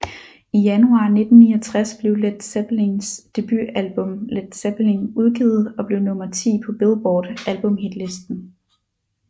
I januar 1969 blev Led Zeppelins debutalbum Led Zeppelin udgivet og blev nummer ti på Billboard albumhitlisten